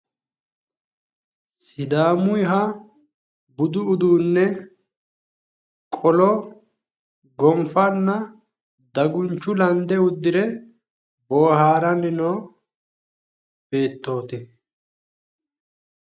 sidaamuyiha budu uduunne qolo gonfanna dangunchu lande uddire boohaaranni noo beettooti.